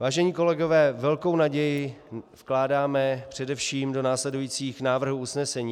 Vážení kolegové, velkou naději vkládáme především do následujících návrhů usnesení.